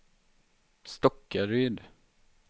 Stockaryd